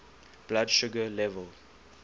blood sugar level